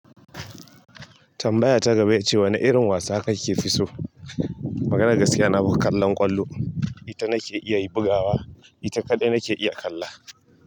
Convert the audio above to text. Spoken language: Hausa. Tambaya ta gaba ita ce wane irin wasa kake fi so? Maganar gaskiya nafi kallon ƙwallo. Ita nake iya yi bugawa. Ita kaɗai nake iya kalla.